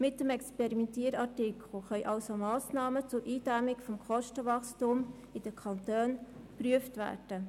Mit dem «Experimentier-Artikel» können somit Massnahmen zur Eindämmung des Kostenwachstums in den Kantonen geprüft werden.